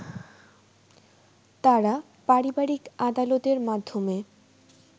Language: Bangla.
তারা পারিবারিক আদালতের মাধ্যমে